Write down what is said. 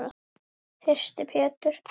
Þyrsti Pétur.